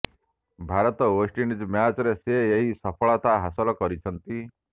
Bharat West Indies ମ୍ୟାଚରେ ସେ ଏହି ସଫଳତା ହାସଲ କରିଛନ୍ତି